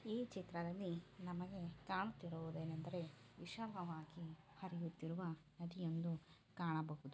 ಈ ಚಿತ್ರದಲ್ಲಿ ನಮಗೆ ಕಾಣುತ್ತಿರುವುದು ಏನೆಂದರೆ ವಿಶಾಲವಾಗಿ ಹರಿಯುತ್ತಿರುವ ನದಿ ಒಂದು ಕಾಣಬಹುದು.